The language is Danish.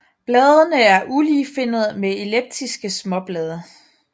Bladene er uligefinnede med elliptiske småblade